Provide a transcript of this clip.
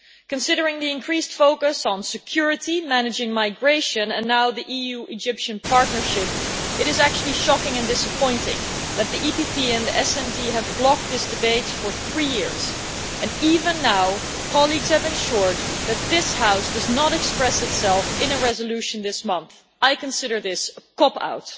Considering the increased focus on security, managing migration and now the EU Egypt partnership, it is shocking and disappointing that the EPP and SD Groups have blocked this debate for three years and, even now, colleagues have ensured that this House does not express itself in a resolution this month. I consider this to be a cop out.